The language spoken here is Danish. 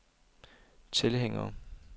tilhængere